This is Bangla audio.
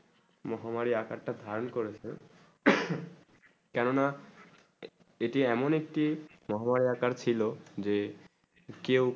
মহামারী আকার তা ধারণ করেছে কেন না এটি এমন একটি মহামারী আকার ছিল যে কেউ